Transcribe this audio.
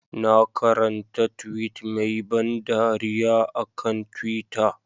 Na karanta tweet mai ban dariya a kan twitter.